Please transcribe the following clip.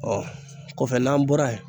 o kɔfɛ n'an bɔra yen.